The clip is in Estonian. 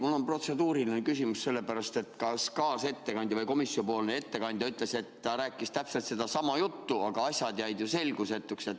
Mul on protseduuriline küsimus – sellepärast, et kaasettekandja või komisjoni ettekandja ütles, et Mart Võrklaev rääkis komisjoni täpselt sedasama juttu, aga asjad jäid ju selgusetuks.